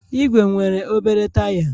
Ìgwè nwere obere taya